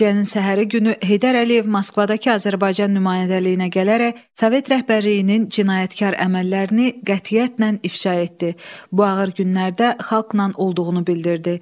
Faciənin səhəri günü Heydər Əliyev Moskvadakı Azərbaycan nümayəndəliyinə gələrək Sovet rəhbərliyinin cinayətkar əməllərini qətiyyətlə ifşa etdi, bu ağır günlərdə xalqla olduğunu bildirdi.